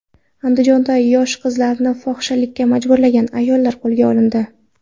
Andijonda yosh qizlarni fohishalikka majburlagan ayollar qo‘lga olindi.